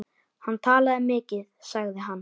Hann talaði mikið sagði hann.